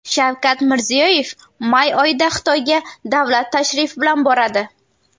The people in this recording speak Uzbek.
Shavkat Mirziyoyev may oyida Xitoyga davlat tashrifi bilan boradi.